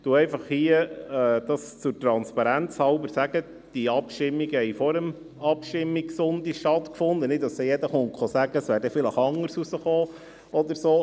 Ich sage einfach hier transparenzhalber, dass diese Abstimmungen vor dem Abstimmungssonntag stattgefunden haben, damit dann nicht jeder sagen kommt, es wäre dann vielleicht anders herausgekommen oder so.